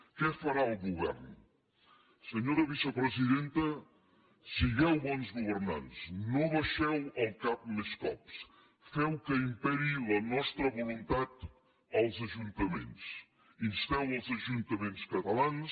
què farà el govern senyora vicepresidenta sigueu bons governants no abaixeu el cap més cops feu que imperi la nostra voluntat als ajuntaments insteu els ajuntaments catalans